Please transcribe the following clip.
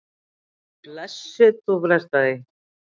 Blessuð, þú frestar því.